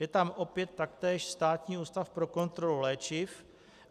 Je tam opět taktéž Státní ústav pro kontrolu léčiv.